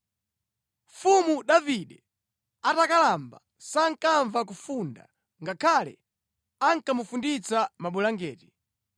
Mfumu Davide atakalamba sankamva kufunda ngakhale akamufunditsa mabulangeti.